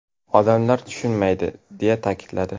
Odamlar tushunmaydimi?”, deya ta’kidladi.